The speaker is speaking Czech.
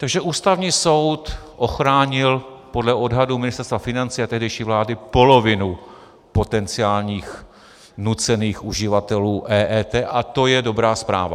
Takže Ústavní soud ochránil podle odhadu Ministerstva financí a tehdejší vlády polovinu potenciálních nucených uživatelů EET a to je dobrá zpráva.